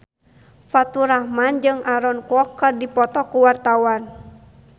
Faturrahman jeung Aaron Kwok keur dipoto ku wartawan